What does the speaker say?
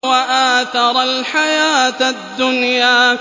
وَآثَرَ الْحَيَاةَ الدُّنْيَا